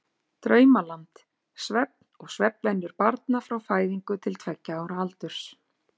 Draumaland: Svefn og svefnvenjur barna frá fæðingu til tveggja ára aldurs.